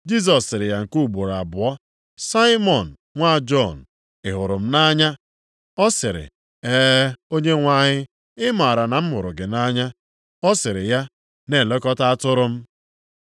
Jisọs sịrị ya nke ugboro abụọ, “Saimọn nwa Jọn, ị hụrụ m nʼanya?” Ọ sịrị, “E, Onyenwe anyị, ị maara na m hụrụ gị nʼanya.” Ọ sịrị ya, “Na-elekọta atụrụ m.”